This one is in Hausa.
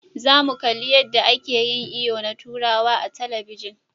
Za mu kalli yadda ake yin iyo na turawa a talabijin.